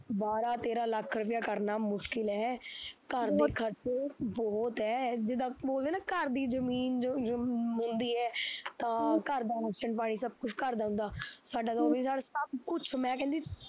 ਬਾਰਾਂ ਤੇਰਾਂ ਲੱਖ ਰੁੱਪਈਆ ਕਰਨਾ ਮੁਸ਼ਕਿਲ ਹੈ ਘਰ ਦੇ ਖਰਚੇ ਬਹੁਤ ਐ ਜਿਦਾਂ ਬੋਲਦੇ ਨਾ ਘਰ ਦੀ ਜ਼ਮੀਨ ਜੋ ਜੋ ਹੁੰਦੀ ਐ, ਤਾਂ ਘਰ ਦਾ ਰਾਸ਼ਨ ਪਾਣੀ ਸਭ ਕੁਛ ਘਰ ਦਾ ਹੁੰਦਾ, ਸਾਡਾ ਤਾਂ ਉਹ ਵੀ ਸਾਡਾ ਸਭ ਕੁਛ ਮੈਂ ਕਹਿੰਦੀ